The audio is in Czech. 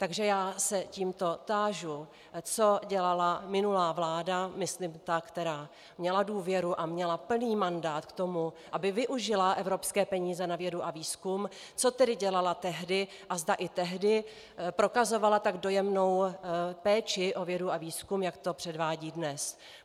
Takže já se tímto tážu, co dělala minulá vláda, myslím ta, která měla důvěru a měla plný mandát k tomu, aby využila evropské peníze na vědu a výzkum, co tedy dělala tehdy a zda i tehdy prokazovala tak dojemnou péči o vědu a výzkum, jak to předvádí dnes.